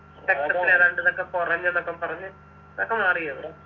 രക്തത്തിൽ ഏതാണ്ടിതൊക്കെ കുറഞ്ഞുന്നൊക്കെ പറഞ്ഞ് അതൊക്ക മാറിയോ